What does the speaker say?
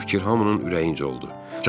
Bu fikir hamının ürəyincə oldu.